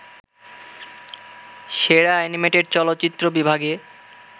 সেরা অ্যানিমেটেড চলচ্চিত্র বিভাগে